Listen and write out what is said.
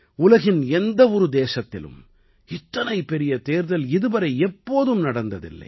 உலகின் எந்த ஒரு தேசத்திலும் இத்தனை பெரிய தேர்தல் இதுவரை எப்போதும் நடந்ததில்லை